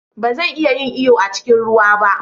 Ba zan iya yin iyo a cikin ruwa ba.